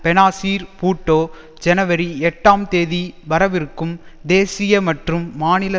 பெனாசீர் பூட்டோ ஜனவரி எட்டாம் தேதி வரவிருக்கும் தேசிய மற்றும் மாநில